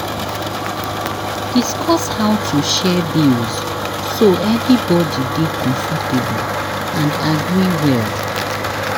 Discuss how to share bills so everybody dey comfortable and agree well.